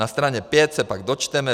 Na straně 5 se pak dočteme: